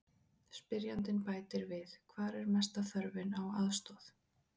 Spyrjandi bætir við: Hvar er mesta þörfin á aðstoð?